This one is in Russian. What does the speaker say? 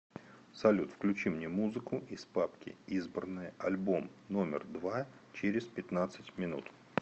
салют включи мне музыку из папки избранное альбом номер два через пятнадцать минут